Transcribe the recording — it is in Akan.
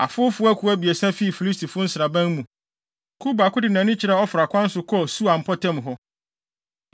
Afowfo akuw abiɛsa fii Filistifo nsraban mu. Kuw baako de nʼani kyerɛɛ Ofra kwan so, kɔɔ Sual mpɔtam hɔ.